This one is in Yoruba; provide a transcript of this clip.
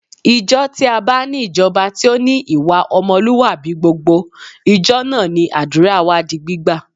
Ìjọ tí a bá ní ìjọba tí ó ní ìwà ọmọlúwàbí gbogbo, ìjọ náà ni àdúrà wa di gbígbà